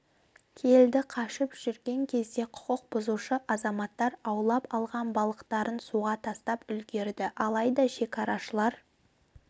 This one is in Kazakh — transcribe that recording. келді қашып жүрген кезде құқық бұзушы азаматтар аулап алған балықтарын суға тастап үлгерді алайда шекарашылар